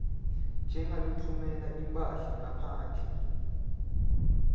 njengalotfumela imphahla ngaphandle